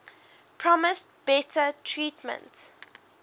promised better treatment